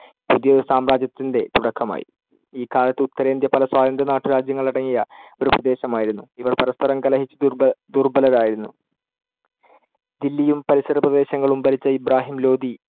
പുതിയ ഒരു സാമ്രാജ്യത്തിന്‍ടെ തുടക്കമായി. ഈ കാലത്ത് ഉത്തരേന്ത്യ പല സ്വതന്ത്ര നാട്ടുരാജ്യങ്ങളടങ്ങിയ ഒരു പ്രദേശമായിരുന്നു. ഇവർ പരസ്പരം കലഹിച്ചു ദുര്‍ബല~ ദുർബ്ബലരായിരുന്നു. ദില്ലിയും പരിസരപ്രദേശങ്ങളും ഭരിച്ച ഇബ്രാഹിം ലോധി